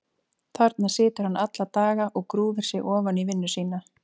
Þarna situr hann alla daga og grúfir sig ofan í vinnu sína.